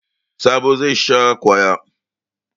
Sabo zai sha kwaya.